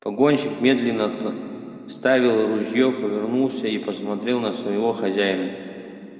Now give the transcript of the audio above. погонщик медленно отставил ружье повернулся и посмотрел на своего хозяина